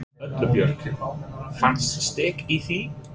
Erla Björg: Fannstu styrk í því?